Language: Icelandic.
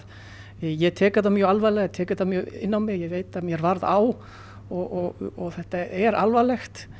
ég tek þetta mjög alvarlega tek þetta mjög inn á mig ég veit að mér varð á og þetta er alvarlegt